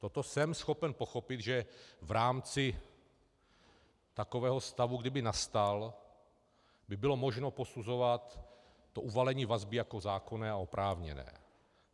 Toto jsem schopen pochopit, že v rámci takového stavu, kdyby nastal, by bylo možno posuzovat to uvalení vazby jako zákonné a oprávněné.